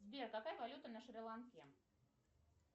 сбер какая валюта на шри ланке